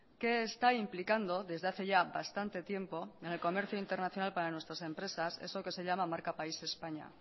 que está implicando desde hace ya bastante tiempo en el comercio internacional para nuestras empresas eso que se llama marca país españa